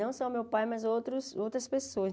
Não só o meu pai, mas outros outras pessoas.